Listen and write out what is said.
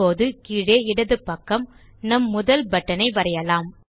இப்போது கீழே இடது பக்கம் நம் முதல் பட்டன் ஐ வரையலாம்